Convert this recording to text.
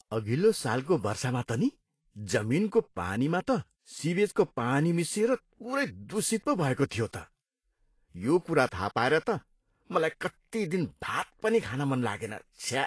अघिल्लो सालको वर्षामा त नि, जमिनको पानीमा त सिवेजको पानी मिसिएर पुरै दूषित पो भएको थियो त। यो कुरा थाहा पाएर त मलाई कति दिन भात पनि खान मन लागेन। छ्या!